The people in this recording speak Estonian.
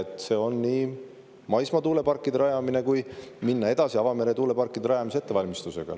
Tuleb nii maismaa tuuleparke rajada kui ka minna edasi avamere tuuleparkide rajamise ettevalmistusega.